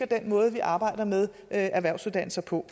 den måde vi arbejder med erhvervsuddannelser på